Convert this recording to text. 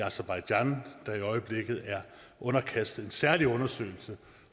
aserbajdsjan der i øjeblikket er underkastet en særlig undersøgelse